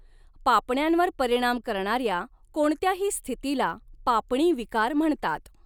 पापण्यांवर परिणाम करणाऱ्या कोणत्याही स्थितीला पापणी विकार म्हणतात.